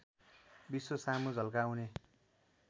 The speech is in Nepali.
विश्व सामु झल्काउने